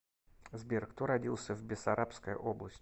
сбер кто родился в бессарабская область